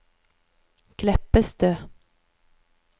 Kleppestø